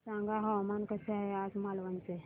सांगा हवामान कसे आहे आज मालवण चे